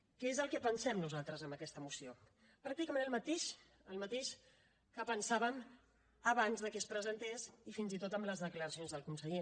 què és el que pensem nosaltres d’aquesta moció pràcticament el mateix el mateix que pensàvem abans de que es presentés i fins i tot amb les declaracions del conseller